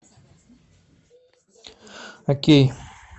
окей